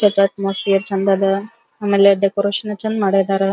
ಇವತ್ ಅಟ್ಮಾಸ್ಫಿಯರ್ ಚಂದದ ಆಮೇಲೆ ಡೆಕೋರೇಷನ್ ಚಂದ ಮಾಡಿದ್ದಾರಾ.